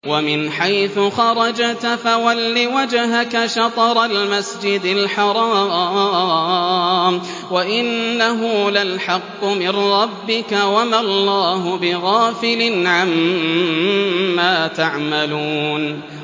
وَمِنْ حَيْثُ خَرَجْتَ فَوَلِّ وَجْهَكَ شَطْرَ الْمَسْجِدِ الْحَرَامِ ۖ وَإِنَّهُ لَلْحَقُّ مِن رَّبِّكَ ۗ وَمَا اللَّهُ بِغَافِلٍ عَمَّا تَعْمَلُونَ